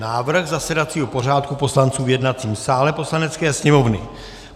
Návrh zasedacího pořádku poslanců v jednacím sále Poslanecké sněmovny